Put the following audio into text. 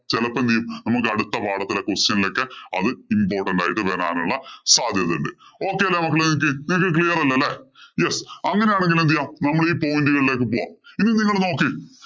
ചെലപ്പോ എന്തു ചെയ്യും നമുക്ക് അടുത്ത പാഠത്തിലെ question ഇലൊക്കെ അത് important ആയിട്ട് വരാനുള്ള സാധ്യത ഉണ്ട്. Okay അല്ലേ മക്കളേ നിങ്ങക്ക്? നിങ്ങക്ക് clear അല്ലേ? yes അങ്ങനെയാണേ എന്തു ചെയ്യാം? നമ്മളീ point ഉകളിലേക്ക് പോകാം. ഇനി നിങ്ങള് നോക്കീ